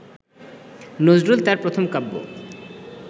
নজরুল তাঁর প্রথম কাব্য